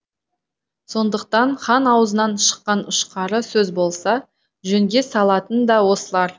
сондықтан хан аузынан шыққан ұшқары сөз болса жөнге салатын да осылар